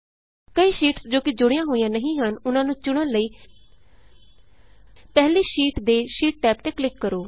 ਕਈ ਸ਼ੀਟਸ ਜੋ ਕਿ ਜੁੜੀਆਂ ਹੋਈਆਂ ਨਹੀਂ ਹਨ ਉਹਨਾਂ ਨੂੰ ਚੁਣਨ ਲਈ ਪਹਿਲੀ ਸ਼ੀਟ ਦੇ ਸ਼ੀਟ ਟੈਬ ਤੇ ਕਲਿਕ ਕਰੋ